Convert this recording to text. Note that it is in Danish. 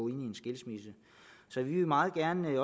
en skilsmisse så vi vil meget gerne i